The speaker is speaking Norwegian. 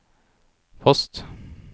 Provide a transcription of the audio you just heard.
post